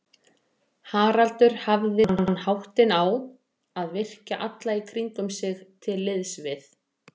Haraldur hafði þann háttinn á að virkja alla í kringum sig til liðs við